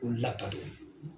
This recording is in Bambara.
K'u labato de